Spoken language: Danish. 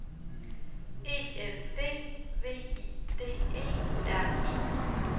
E N D V I D E R E